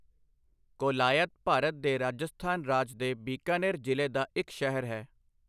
ਕੋਲਾਯਤ ਭਾਰਤ ਦੇ ਰਾਜਸਥਾਨ ਰਾਜ ਦੇ ਬੀਕਾਨੇਰ ਜ਼ਿਲ੍ਹੇ ਦਾ ਇੱਕ ਸ਼ਹਿਰ ਹੈ।